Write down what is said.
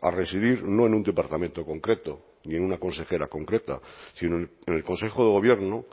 a residir no en un departamento concreto ni en una consejera concreta sino en el consejo de gobierno